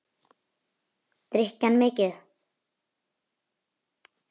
Drykki hann mikið?